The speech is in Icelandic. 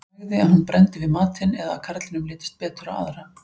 Nægði að hún brenndi við matinn eða að karlinum litist betur á aðra.